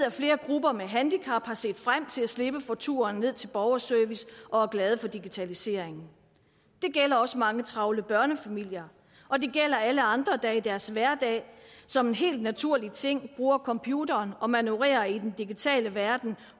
at flere grupper med handicap har set frem til at slippe for turen ned til borgerservice og er glade for digitaliseringen det gælder også mange travle børnefamilier og det gælder alle andre der i deres hverdag som en helt naturlig ting bruger computeren og manøvrerer i den digitale verden